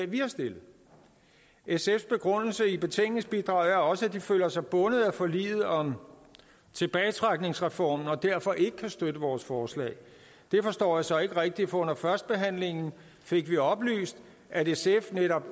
vi har stillet sfs begrundelse i betænkningsbidraget er også at de føler sig bundet af forliget om tilbagetrækningsreformen og derfor ikke kan støtte vores forslag det forstår jeg så ikke rigtig for under førstebehandlingen fik vi oplyst at sf netop